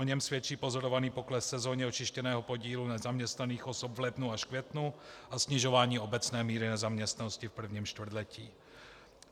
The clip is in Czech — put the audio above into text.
O něm svědčí pozorovaný pokles sezónně očištěného podílu nezaměstnaných osob v lednu až květnu a snižování obecné míry nezaměstnanosti v prvním čtvrtletí.